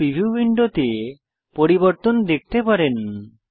আপনি প্রিভিউ উইন্ডোতে পরিবর্তন দেখতে পারেন